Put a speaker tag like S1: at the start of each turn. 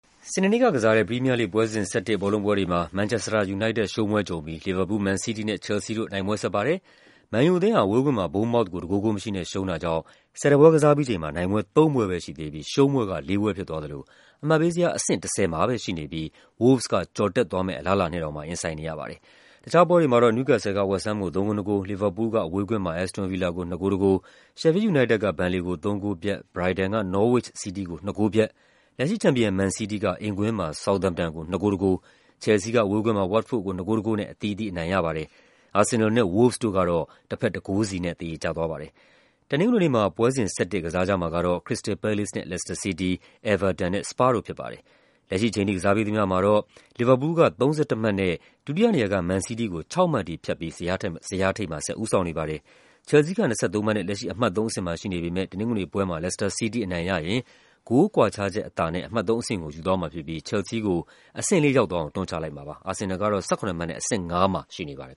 S1: စနေနေ့က ကစားတဲ့ ပရီးမီးယားလိဂ် ပွဲစဉ် ၁၁ ဘောလုံးပွဲတွေမှာ မန်ချက်စတာ ယူနိုက်တက် ရှုံးပွဲကြုံပြီး လီဗာပူးလ်၊ မန်စီးတီးနဲ့ ချယ်လ်ဆီးတို့ နိုင်ပွဲဆက်ပါတယ်။ မန်ယူအသင်းဟာ အဝေးကွင်းမှာ ဘုန်းမောက်သ်ကို ၁ ဂိုး ဂိုးမရှိနဲ့ ရှုံးတာကြောင့် ၁၁ ပွဲကစားပြီးချိန်မှာ နိုင်ပွဲ ၃ ပွဲပဲရှိသေးပြီး ရှုံးပွဲက ၄ ပွဲဖြစ်သွားသလို အမှတ်ပေးဇယားမှာ အဆင့် ၁၀ မှာပဲရှိနေပြီး ဝို့လ်ဗ်စ်က ကျော်တက်သွားမယ့် အလားအလာနဲ့ ရင်ဆိုင်နေရပါတယ်။ တခြားပွဲတွေမှာတော့ နယူးကက်ဆယ်လ်က ဝက်စ်ဟမ်းမ်ကို ၃ ဂိုး ၂ ဂိုး၊ လီဗာပူးလ်က အဝေးကွင်းမှာ အက်စ်တွန် ဗီလာကို ၂ ဂိုး ၁ ဂိုး၊ ရှက်ဖီးလ် ယူနိုက်တက်က ဘန်လေကို ၃ ဂိုးပြတ်၊ ဘရိုက်တန်က နော်ဝစ်ချ် စီးတီးကို ၂ ဂိုးပြတ်၊ လက်ရှိချန်ပီယံ မန်စီးတီးက အိမ်ကွင်းမှာ ဆောက်သမ်ပ်တန်ကို ၂ ဂိုး ၁ ဂိုး၊ ချယ်လ်ဆီးက အဝေးကွင်းမှာ ဝတ်ဖို့ဒ်ကို ၂ ဂိုး ၁ ဂိုးနဲ့ အသီးသီးအနိုင်ရပါတယ်။ အာဆင်နယ်လ်နဲ့ ဝို့လ်ဗ်စ်တို့ကတော့ တဖက် ၁ ဂိုးစီနဲ့ သရေကျပါတယ်။ တနင်္ဂနွေနေ့မှာ ပွဲစဉ် ၁၁ ကစားကြမှာကတော့ ခရစ္စတယ်လ် ပဲလေ့စ်နဲ့ လက်စတာ စီးတီး၊ အဲဗာတန်နဲ့ စပါးတို့ ဖြစ်ပါတယ်။ လက်ရှိအချိန်ထိ ကစားပြီးသမျှမှာတော့ လီဗာပူးလ်က ၃၁ မှတ်နဲ့ ဒုတိယနေရာက မန်စီးတီးကို ၆ မှတ်ထိဖြတ်ပြီး ဇယားထိပ်မှာ ဆက်ဦးဆောင်နေပါတယ်။ ချယ်လ်ဆီးက ၂၃ မှတ်နဲ့ အမှတ် ၃ အဆင့်မှာ ရှိနေပေမယ့် တနင်္ဂနွေပွဲမှာ လက်စတာစီးတီး အနိုင်ရရင် ဂိုးကွာခြားချက်အသာနဲ့ အမှတ် ၃ အဆင့်ကို ယူသွားမှာဖြစ်ပြီး ချယ်လ်ဆီးကို အဆင့် ၄ တွန်းချလိုက်မှာပါ။ အာဆင်နယ်လ်ကတော့ ၁၇ မှတ်နဲ့ အဆင့် ၅ မှာ ရှိနေ
S2: ပါတယ်